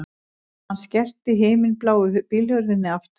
Hann skellti himinbláu bílhurðinni aftur